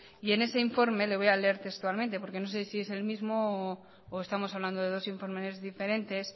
y en ese informe le voy a leer textualmente porque no sé si es el mismo o estamos hablando de dos informes diferentes